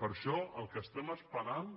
per això el que estem esperant